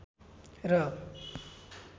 र